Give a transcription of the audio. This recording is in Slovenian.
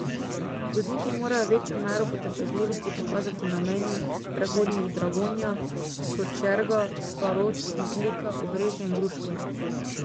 Vozniki morajo večjo mero potrpežljivosti pokazati na mejnih prehodih Dragonja, Sočerga, Starod, Metlika, Obrežje in Gruškovje.